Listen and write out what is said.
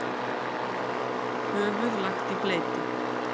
Höfuð lagt í bleyti.